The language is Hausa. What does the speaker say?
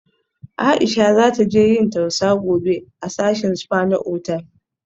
Aisha za taje yin tausa gobe a sashin spa na otal